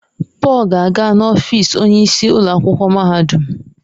Paul ga-aga n'ọfịs onyeisi ụlọ akwụkwọ mahadum.